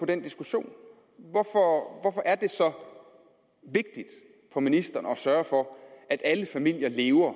den diskussion hvorfor hvorfor er det så vigtigt for ministeren at sørge for at alle familier lever